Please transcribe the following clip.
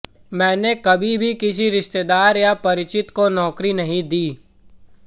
मैंने कभी भी किसी रिश्तेदार या परिचित को नौकरी नहीं दी